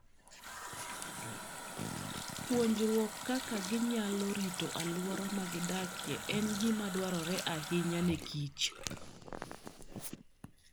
Puonjruok kaka ginyalo rito alwora ma gidakie en gima dwarore ahinya ne kich